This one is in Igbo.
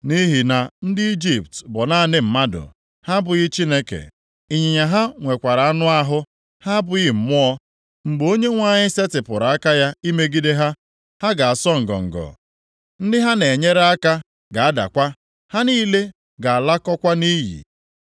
Nʼihi na ndị Ijipt bụ naanị mmadụ, ha abụghị Chineke! Ịnyịnya ha nwekwara anụ ahụ, ha abụghị mmụọ. Mgbe Onyenwe anyị setịpụrụ aka ya imegide ha, ha ga-asọ ngọngọ; ndị ha na-enyere aka ga-adakwa. Ha niile ga-alakọkwa nʼiyi.